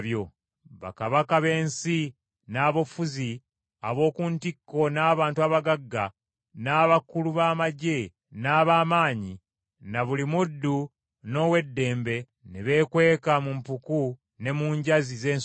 Bakabaka b’ensi, n’abafuzi ab’oku ntikko n’abantu abagagga, n’abakulu b’amaggye n’ab’amaanyi, na buli muddu n’ow’eddembe, ne beekweka mu mpuku ne mu njazi z’ensozi.